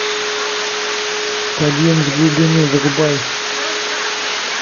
подъем с глубины врубай